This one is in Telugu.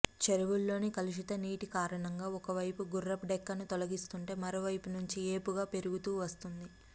చెరువుల్లోని కలుషిత నీటి కారణంగా ఒకవైపు గుర్రపుడెక్కను తొలగిస్తుంటే మరో వైపు నుంచి ఏపుగా పెరుగుతూ వస్తుంది